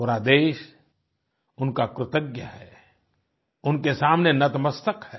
पूरा देश उनका कृतज्ञ है उनके सामने नतमस्तक है